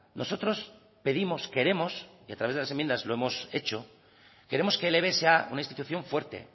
nosotros pedimos queremos y a través de las enmiendas lo hemos hecho queremos que el eve sea una institución fuerte